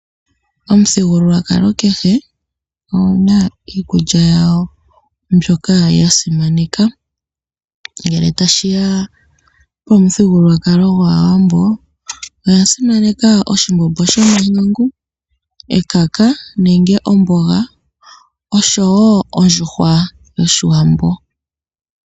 Omuthigululwakalo kehe oguna iikulya yago mbyoka yasimaneka. Ngele tashiya pomuthigululwakalo gwaawambo oya simaneka oshimbombo shomahangu, ekaka, omboga oshowo ondjuhwa yoshiwambo.